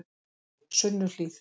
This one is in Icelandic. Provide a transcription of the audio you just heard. Sunnuhlíð